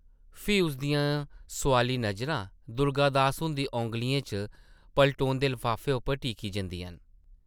फ्ही उस दियां सोआली नजरां दुर्गा दास हुंदी औंगलियें च पलटोंदे लफाफे उप्पर टिकी जंदियां न।